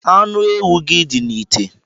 Anu ewu gi di n'ite